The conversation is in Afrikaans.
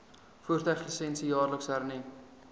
voertuiglisensie jaarliks hernu